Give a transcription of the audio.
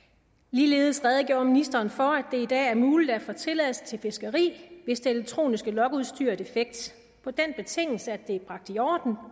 ligeledes redegjorde ministeren for det i dag er muligt at få tilladelse til fiskeri hvis det elektroniske logudstyr er defekt på den betingelse at det er bragt i orden